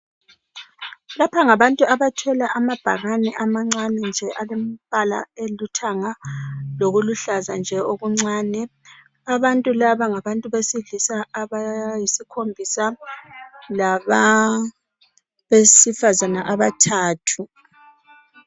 lapha ngabantu abathwele amabhakane amancane nje alembala elithanga lokuluhlaza nje okuncane abantu laba ngabantu abesilisa abayisikhombisa labesifazana abathathu